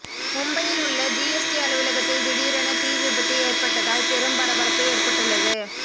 மும்பையில் உள்ள ஜிஎஸ்டி அலுவலகத்தில் திடீரென தீ விபத்து ஏற்பட்டதால் பெரும் பரபரப்பு ஏற்பட்டுள்ளது